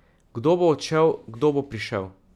Kdo bo odšel, kdo bo prišel?